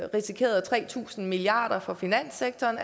risikerede tre tusind milliard kroner fra finanssektoren